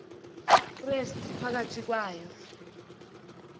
krestu phakathi kwayo